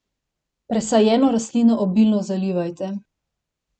Presajeno rastlino obilno zalivajte.